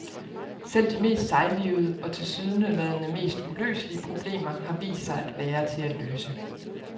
Selv de mest sejlivede og tilsyneladende mest uløselige problemer har vist sig at være til at løse.